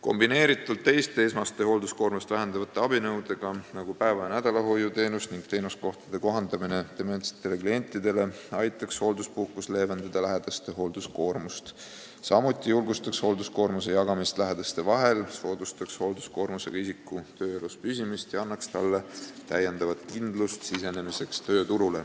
Kombineeritult teiste esmast hoolduskoormust vähendavate abinõudega, nagu päeva- ja nädalahoiuteenus ning teenuskohtade kohandamine dementsetele klientidele, aitaks hoolduspuhkus leevendada lähedaste hoolduskoormust, samuti julgustaks hoolduskoormuse jagamist lähedaste vahel, soodustaks hoolduskoormusega isiku tööle jäämist ja annaks lisakindlust tööturule sisenemisel.